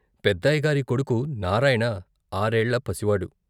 పెద్దయ్య గారి కొడుకు నారాయణ ఆరేళ్ళ పసివాడు.